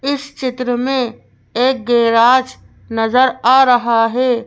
इस चित्र मेंएक गैराज नजर आ रहा है।